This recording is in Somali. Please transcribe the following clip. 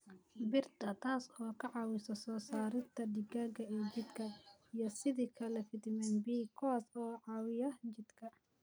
Birta, taas oo ka caawisa soo saarista dhiigga ee jidhka, iyo sidoo kale fiitamiinada B, kuwaas oo caawiya jidhka